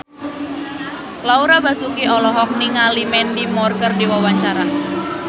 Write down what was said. Laura Basuki olohok ningali Mandy Moore keur diwawancara